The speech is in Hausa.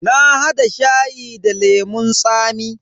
Na hada shayi da lemun tsami.